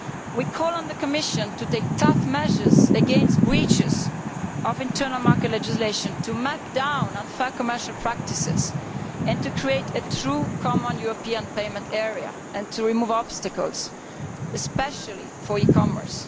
We call on the Commission to take tough measures against breaches of internal market legislation, to crack down on unfair commercial practices, to create a true common European payment area and to remove obstacles, especially for e commerce.